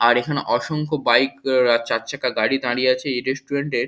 আর এখানে অসংখ্য বাইক আর চারচাকা গাড়ি দাঁড়িয়ে আছে এই রেস্টুরেন্ট এর।